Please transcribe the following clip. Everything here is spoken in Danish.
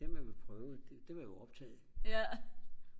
det man ville prøve det det var jo optaget ikke